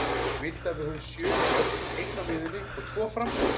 Viltu að við höfum sjö í vörn, einn á miðjunni og tvo frammi?